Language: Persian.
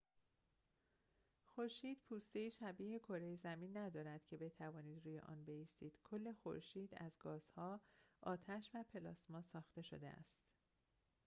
خورشید پوسته‌ای شبیه کره زمین ندارد که بتوانید روی آن بایستید کل خورشید از گازها آتش و پلاسما ساخته شده است